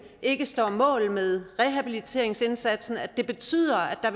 ikke står mål med rehabiliteringsindsatsen og at det betyder at der